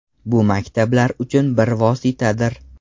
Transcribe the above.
Bu maktablar uchun bir vositadir.